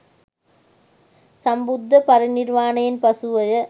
සම්බුද්ධ පරිනිර්වාණයෙන් පසුවය.